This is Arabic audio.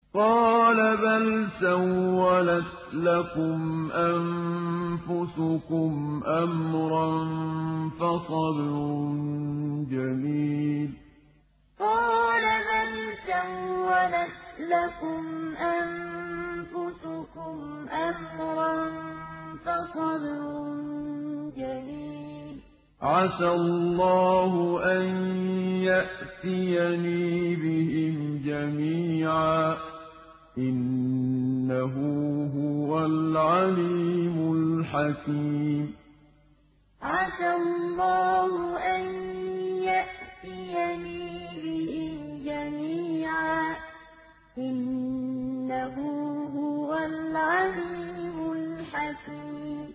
قَالَ بَلْ سَوَّلَتْ لَكُمْ أَنفُسُكُمْ أَمْرًا ۖ فَصَبْرٌ جَمِيلٌ ۖ عَسَى اللَّهُ أَن يَأْتِيَنِي بِهِمْ جَمِيعًا ۚ إِنَّهُ هُوَ الْعَلِيمُ الْحَكِيمُ قَالَ بَلْ سَوَّلَتْ لَكُمْ أَنفُسُكُمْ أَمْرًا ۖ فَصَبْرٌ جَمِيلٌ ۖ عَسَى اللَّهُ أَن يَأْتِيَنِي بِهِمْ جَمِيعًا ۚ إِنَّهُ هُوَ الْعَلِيمُ الْحَكِيمُ